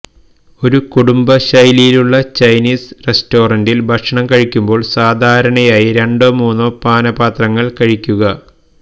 ഒരു കുടുംബ ശൈലിയിലുള്ള ചൈനീസ് റെസ്റ്റോറന്റിൽ ഭക്ഷണം കഴിക്കുമ്പോൾ സാധാരണയായി രണ്ടോ മൂന്നോ പാനപാത്രങ്ങൾ കഴിക്കുക